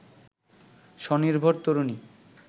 স্বনির্ভর তরুণী